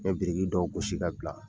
U ye biriki dɔw gosi ka bila.